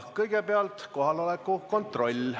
Kõigepealt kohaloleku kontroll.